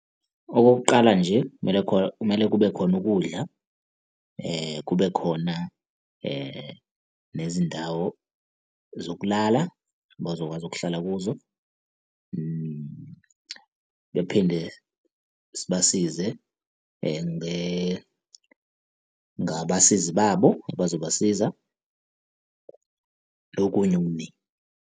Okokuqala nje kumele khona, kumele kube khona ukudla. kube khona nezindawo zokulala abazokwazi ukuhlala kuzo. Bephinde sibasize ngabasizi babo abazobasiza nokunye okuningi.